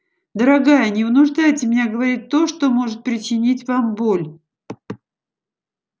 дорогая не вынуждайте меня говорить то что может причинить вам боль